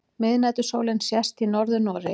Miðnætursólin sést í Norður-Noregi.